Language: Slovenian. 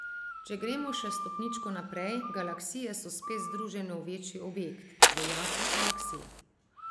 Če gremo še stopničko naprej, galaksije so spet združene v večji objekt, v jate galaksij.